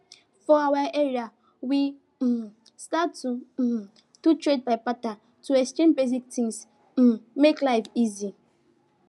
for our area we um start to um do trade by barter to exchange basic things um make life easy